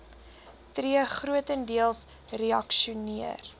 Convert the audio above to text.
tree grotendeels reaksioner